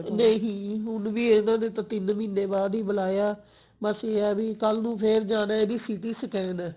ਨਹੀਂ ਹੁਣ ਵੀ ਇਹਨਾਂ ਨੇ ਤਾਂ ਤਿੰਨ ਮਹੀਨੇ ਬਾਅਦ ਬੁਲਾਇਆ ਬਸ ਇਹ ਹੈ ਵੀ ਕੱਲ ਨੂੰ ਫੇਰ ਜਾਣਾ ਇਹਦੀ CT SCANਹੈ